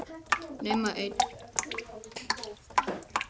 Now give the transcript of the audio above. Nema einn.